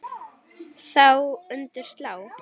Þá undir slá.